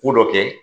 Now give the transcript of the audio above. Ko dɔ kɛ